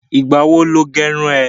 Ìgbà wo lo gẹrun rẹ?